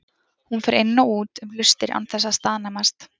Hún fer inn og út um hlustir án þess að staðnæmast.